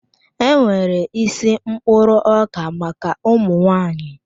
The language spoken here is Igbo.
E nwere isi mkpụrụ ọka maka ụmụnwaanyị.